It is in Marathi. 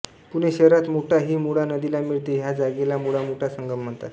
पुणे शहरात मुठा ही मुळा नदीला मिळते ह्या जागेला मुळामुठा संगम म्हणतात